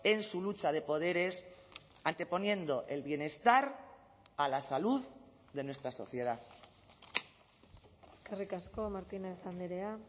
en su lucha de poderes anteponiendo el bienestar a la salud de nuestra sociedad eskerrik asko martínez andrea